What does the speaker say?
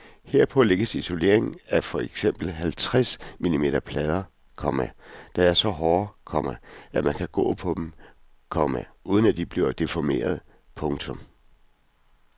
Herpå lægges isolering af for eksempel halvtreds millimeter plader, komma der er så hårde, komma at man kan gå på dem, komma uden at de bliver deformerede. punktum